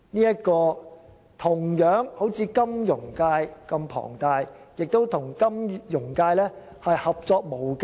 這個業界如同金融界般規模龐大，亦與金融界合作無間。